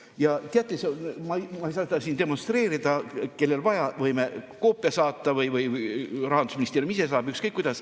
Ja teate, ma ei saa neid siin demonstreerida, aga kellel vaja, võime koopia saata või saadab Rahandusministeerium, ükskõik kuidas.